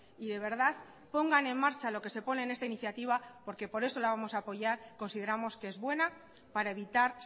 y de verdad pongan en marcha lo que se pone en esta iniciativa porque por eso la vamos a apoyar consideramos que es buena para evitar